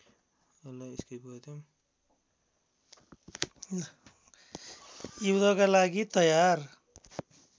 युद्धका लागि तयार